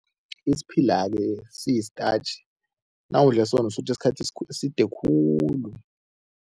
Isiphila-ke siyi-starch. Nawudle sona usutha isikhathi eside khulu.